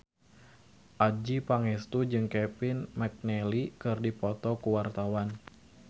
Adjie Pangestu jeung Kevin McNally keur dipoto ku wartawan